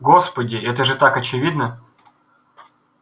господи это же так очевидно